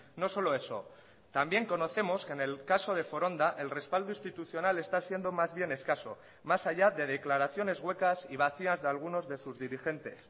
no solo eso también conocemos que en el caso de foronda el respaldo institucional está siendo más bien escaso más allá de declaraciones huecas y vacías de algunos de sus dirigentes